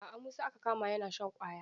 A a Musa aka kama yana shan ƙwaya.